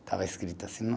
Estava escrito assim no